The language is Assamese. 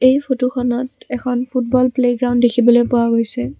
এই ফটোখনত এখন ফুটবল প্লেগ্ৰাউণ্ড দেখিবলৈ পোৱা গৈছে।